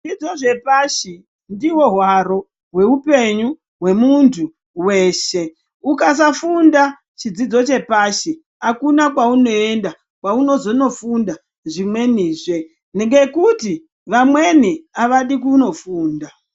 Zvidzidzo zvepashi ndihwo hwaro hweupenyu hwemundu weshe ukasafunda chidzidzo chepashi akuna kwaunoenda kwaunozonofunda zvimwenizve ngekuti vamweni avadi kunofunda.